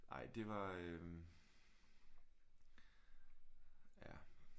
Ej det var øh ja